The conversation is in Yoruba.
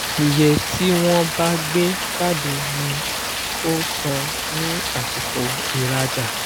iye tí wọ́n bá gbe jáde ni o san ní àsìko iraja